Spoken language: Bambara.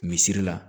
Misiri la